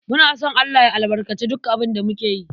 Muna son Allah ya albarkaci duk abin da muke yi.